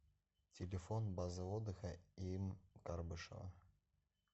телефон база отдыха им карбышева